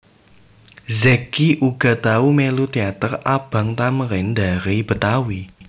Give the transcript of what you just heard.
Zacky uga tau mélu teater Abang Thamrin Dari Betawi